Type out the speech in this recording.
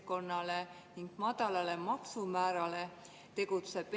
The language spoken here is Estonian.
Maksud ei tõuse, punkt, ütles Reformierakonna peaminister ja valetas, nii et suu suitses.